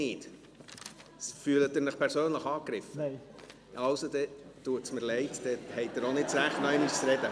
Also, dann tut es mir leid , dann haben Sie auch nicht das Recht, noch einmal zu sprechen.